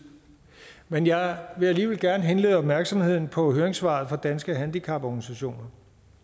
men jeg vil alligevel gerne henlede opmærksomheden på høringssvaret fra danske handicaporganisationer